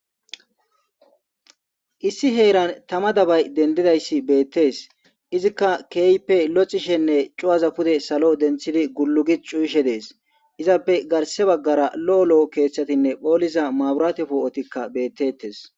Issi heeran tama dannou dendidayis bettees. Izikka keehippe lo'ishenne tsugaza pude salo denttidi tullu gishe de'is. Izappe garssa baggara leemo keeththatinne boollisa maabrate po'ottika beteettis.